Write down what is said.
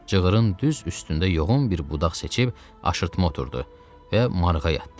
Cığırın düz üstündə yoğun bir budaq seçib aşırtma oturdu və marığa yatdı.